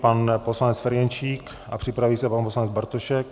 Pan poslanec Ferjenčík a připraví se pan poslanec Bartošek.